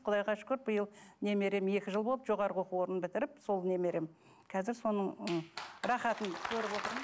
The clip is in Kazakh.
құдайға шүкір биыл немерем екі жыл болды жоғарғы оқу орнын бітіріп сол немерем қазір соның